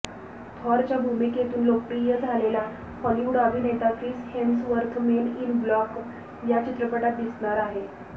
थॉरच्या भूमिकेतून लोकप्रिय झालेला हॉलिवूड अभिनेता Chris Hemsworth Men in Black या चित्रपटात दिसणार आहे